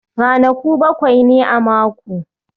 Ranaku bakwai ne a mako